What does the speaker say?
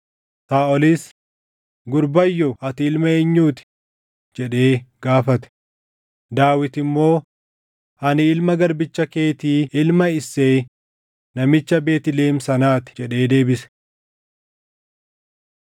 Saaʼolis, “Gurbayyoo ati ilma eenyuu ti?” jedhee gaafate. Daawit immoo, “Ani ilma garbicha keetii ilma Isseeyi namicha Beetlihem sanaa ti” jedhee deebise.